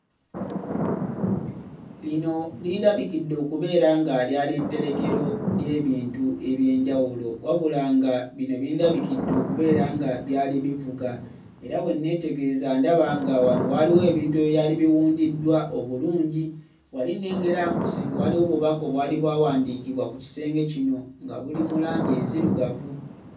Lino lindabikidde okubeera nga lyali tterekero ly'ebintu eby'enjawulo wabula nga bino bindabikidde okubeera nga byali bivuga era bwe nneetegereza ndaba nga wano waaliwo ebintu ebyali biwundiddwa obulungi wali nnengera nga ku kisenge waliwo obubaka obwali bwawandiikibwa ku kisenge kino nga buli mu langi enzirugavu.